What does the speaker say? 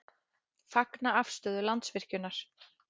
Fagna afstöðu Landsvirkjunar